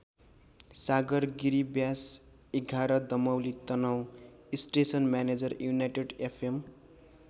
Sagar Giri Byas ११ Damauli Tanahun station manager united F am.